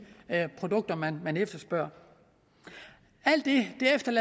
produkter man efterspørger alt det